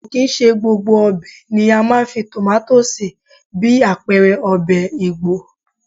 Kò kì í ṣe gbogbo ọbẹ̀ ni a máa ń fi tomato sí bí àpẹẹrẹ ọbẹ̀ Igbo.